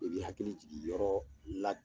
I bɛ i hakili jigin yɔrɔ la.